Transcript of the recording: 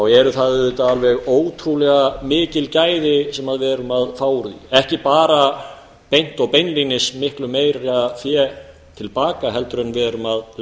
eru það alveg ótrúlega mikil gæði sem við erum að fá úr því ekki bara beint og beinlínis miklu meira fé til baka en við leggjum í